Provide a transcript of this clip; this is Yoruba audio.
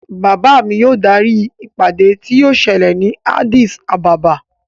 Bàbá mi yóò darí ìpàdé tí yóò ṣẹlẹ̀ ni Addis Ababa.